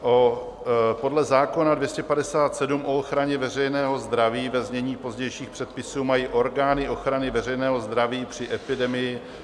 Podle zákona 257, o ochraně veřejného zdraví, ve znění pozdějších předpisů, mají orgány ochrany veřejného zdraví při epidemii...